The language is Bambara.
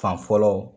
Fan fɔlɔ